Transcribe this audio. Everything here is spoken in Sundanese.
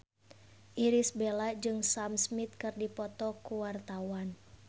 Irish Bella jeung Sam Smith keur dipoto ku wartawan